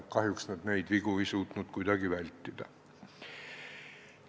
Kahjuks ei suutnud nad neid vigu kuidagi vältida.